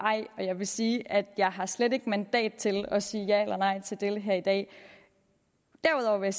ej og jeg vil sige at jeg har slet ikke mandat til at sige ja eller nej til det her i dag derudover vil